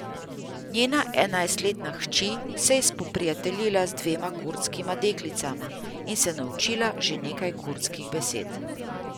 Njena enajstletna hči se je spoprijateljila z dvema kurdskima deklicama in se naučila že nekaj kurdskih besed.